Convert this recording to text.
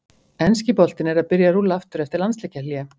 Enski boltinn er að byrja að rúlla aftur eftir landsleikjahlé!